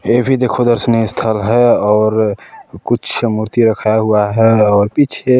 ये भी देखो दर्शनीय स्थल है और कुछ मूर्ति रखाया हुआ है और पीछे--